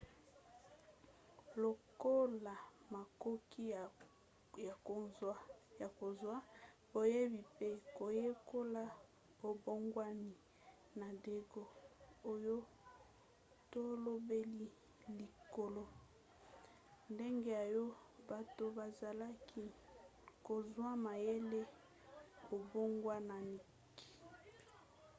lokola makoki ya kozwa boyebi pe koyekola ebongwani na ndenge oyo tolobeli likolo ndenge oyo bato bazalaki kozwa mayele ebongwanaki